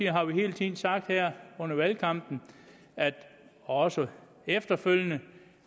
har vi hele tiden sagt under valgkampen og også efterfølgende